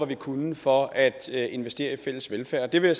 vi kunne for at investere i fælles velfærd det vil